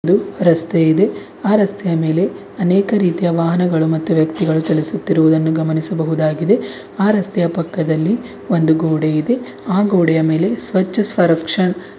ಇದು ರಸ್ತೆ ಇದೆ ಆ ರಸ್ತೆಯ ಮೇಲೆ ಅನೇಕ ರೀತಿಯ ವಾಹನಗಳು ಮತ್ತು ವ್ಯಕ್ತಿಗಳು ಚಲಿಸುತ್ತಿರುವುದನ್ನು ಗಮನಿಸಬಹುದಾಗಿದೆ ಆ ರಸ್ತೆಯ ಪಕ್ಕದಲ್ಲಿ ಒಂದು ಗೋಡೆ ಇದೆ ಆ ಗೋಡೆಯ ಮೇಲೆ ಸ್ವಚ್ಛ ಸ್ವರಕ್ಶ--